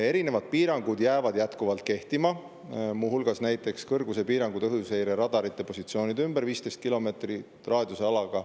Erinevad piirangud jäävad jätkuvalt kehtima, muu hulgas näiteks kõrgusepiirangud õhuseireradarite positsioonide ümber 15 kilomeetri raadiuses.